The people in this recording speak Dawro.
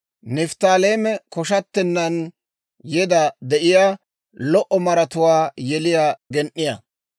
Nifttaaleeme k'ashettennan yeda de'iyaa, lo"o maratuwaa yeliyaa gen"iyaa.